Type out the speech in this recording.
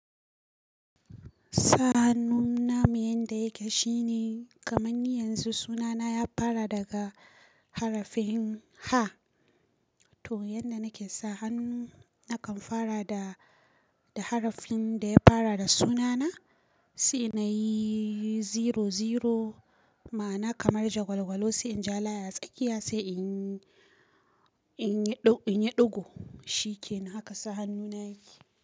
Sahanu namu yan da yake shine kamar ni yanzu sunana ya fara daga harafin H. To yanda nake sahannu, nakan fara da, da harafin da ya fara da sunana. Sai inayi zero zero ma, ana kamar jagwalgwalo sai in ja layi a tsakiya sai in, in yi, in yi ɗigo shikenan haka sahannu na yake.